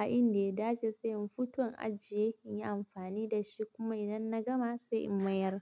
a inda ya dace, sai in fito in ajiye, in yi amfani da shi. Kuma idan na gama sai in mayar.